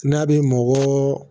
N'a bɛ mɔgɔ